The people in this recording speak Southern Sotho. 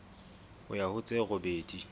ho ya ho tse robedi